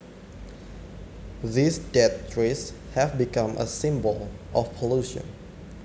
These dead trees have become a symbol of pollution